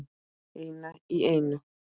Eina í eina.